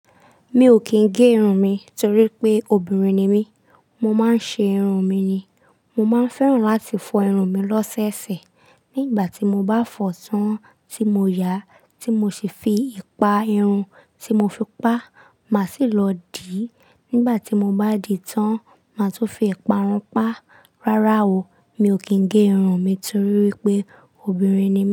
Mi ò kìn gé irun mi torípé obìnrin ni mi, mo má ń ṣe irun mi ni. Mo má ń fẹ́ràn láti fọ irun mi lọ́ṣẹ̀ọ̀ṣẹ̀. Nígbàtí mo bá fọ tán tí mo ya, tí mo sì fi ipa irun tí mo fi pa, má sì lọ dì. Nígbàtí mo bá dì tán, má tún fi ipa run pa. Rárá o, mi ò kìn gé irun mi torípé obìnrin ni mi.